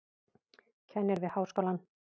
Kennir við háskólann.